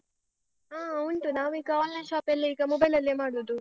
ಹಾ ಉಂಟು. ನಾವೀಗ online shop ಎಲ್ಲ ಈಗ mobile ಅಲ್ಲೇ ಮಾಡುದು.